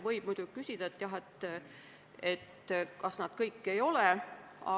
Võib muidugi küsida, et kas nad kõik ei ole sõjaaja ametikohal.